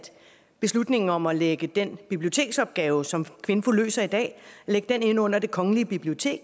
beslutningen om at lægge den biblioteksopgave som kvinfo løser i dag ind under det kongelige bibliotek